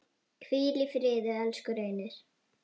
Hvíl í friði, elsku Reynir.